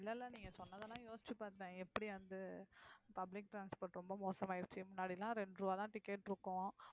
இல்ல, இல்ல நீங்க சொன்னதெல்லாம் யோசிச்சு பாத்தேன். எப்படி வந்து public transport ரொம்ப மோசமாயிருச்சு. முன்னாடி எல்லாம் ரெண்டு ரூபாய்தான் ticket இருக்கும்.